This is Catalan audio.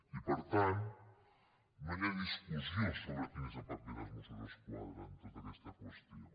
i per tant no hi ha discussió sobre quin és el paper dels mossos d’esquadra en tota aquesta qüestió